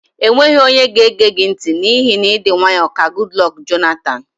E nweghị onye ga-ege gị ntị n'ihi na ịdị nwaayọ ka Gudlọk Jonatan.